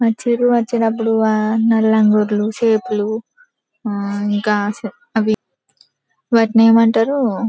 వచ్చిండ్రు వచ్చినప్పుడు ఆ లాగోతులు చాపలు ఆ ఇంకా అవి వాటిని ఏమంటారు--